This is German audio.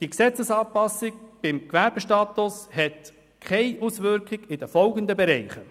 Die Gesetzesanpassung beim Gewerbestatus hat keine Auswirkungen auf folgende Bereiche: